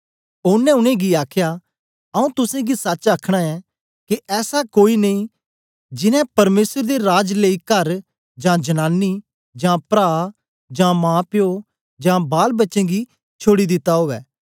ओनें उनेंगी आखया आऊँ तुसेंगी सच आखना ऐं के ऐसा कोई नेई जिन्नें परमेसर दे राज लेई कर जां जनानी जां प्रा जां माप्यो जां बालबच्चें गी छोड़ी दिता उवै